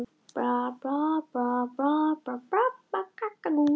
Örlög Eikar banka ráðin